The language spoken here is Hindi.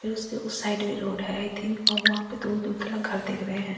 फिर उसके उस साइड भी रोड है आई थिंक और वहां पे दूर-दूर तलक घर दिख रहे हैं।